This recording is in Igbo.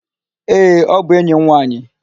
Ee, ọ bụ enyi m nwaanyị.